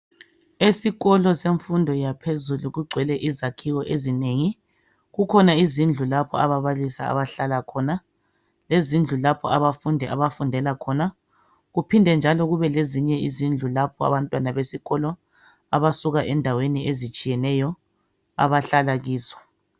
Esikolo semfundo yaphezulu kugcwele izakhiwo ezinengi. Kukhona izindlu lapho ababalisi abahlala khon, lezindlu lapho abafundi abafundela khona, kuphinde njalo kube lezindlu lapho abantwana besikolo abasuka endaweni ezitshiyeneyo abahlala kizo.